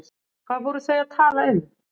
Hvað voru þau að tala um?